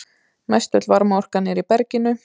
Mestöll varmaorkan er í berginu.